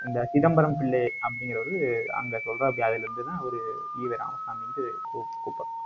இந்த சிதம்பரம் பிள்ளை அப்படிங்கிறவர் அங்க சொல்றப்புடி அதுல இருந்துதான், அவரு ஈவெராமசாமின்னு கூப்~ கூப்பிடறது